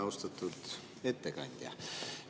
Austatud ettekandja!